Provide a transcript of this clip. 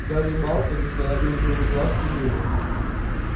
гарри и малфой не сводя друг с друга глаз кивнули